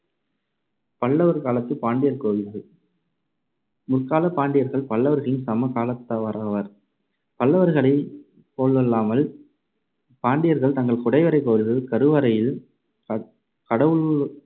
பல்லவர் காலத்துப் பாண்டியர் கோவில்கள் முற்காலப் பாண்டியர்கள் பல்லவர்களின் சம காலத்தவராவர். பல்லவர்களைப் போலல்லாமல் பாண்டியர்கள் தங்கள் குடைவரைக் கோவில்கள் கருவறையில் க~கடவுள்